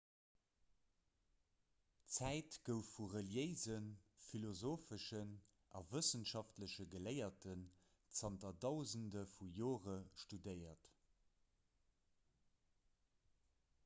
d'zäit gouf vu reliéisen philosopheschen a wëssenschaftleche geléierten zanter dausende vu jore studéiert